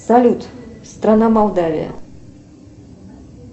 салют страна молдавия